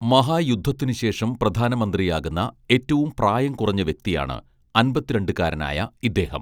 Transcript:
മഹായുദ്ധത്തിനു ശേഷം പ്രധാനമന്ത്രിയാകുന്ന ഏറ്റവും പ്രായം കുറഞ്ഞ വ്യക്തിയാണ് അൻപത്തിരണ്ടുകാരനായ ഇദ്ദേഹം